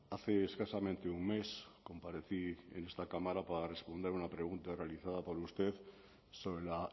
hace escasamente un mes comparecí en esta cámara para responder a una pregunta realizada por usted sobre la